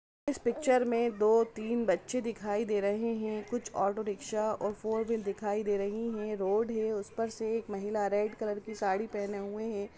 इस picture मे दो तीन बच्चे दिखाई दे रहे है कुछ ऑटो रिक्शा और फोरवेल दिखायी दे रही है रोड है उस पर से एक महिला रेड कलर की साडी पहने हुऐ है।